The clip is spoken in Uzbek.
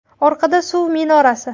Orqada – suv minorasi.